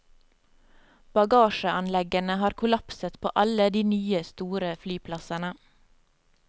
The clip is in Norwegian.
Bagasjeanleggene har kollapset på alle de nye, store flyplassene.